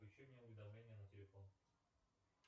включи мне уведомления на телефон